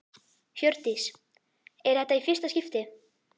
Hjördís: Er þetta í fyrsta skipti?